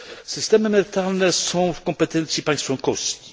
Systemy emerytalne są w kompetencji państw członkowskich.